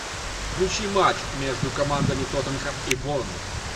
включи матч между командами тоттенхэм и борнмут